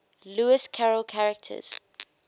lewis carroll characters